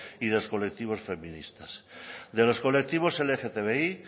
y los colectivos feministas de los colectivos lgtbi